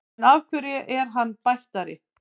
En hverju er hann bættari?